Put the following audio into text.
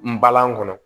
N balan kɔnɔ